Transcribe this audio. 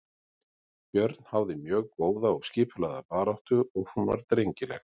Björn háði mjög góða og skipulagða baráttu og hún var drengileg.